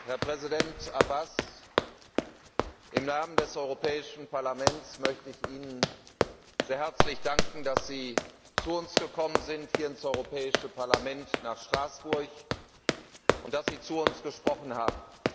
Herr Präsident Abbas! Im Namen des Europäischen Parlaments möchte ich Ihnen sehr herzlich danken, dass Sie zu uns hier ins Europäische Parlament nach Straßburg gekommen sind und dass Sie zu uns gesprochen haben.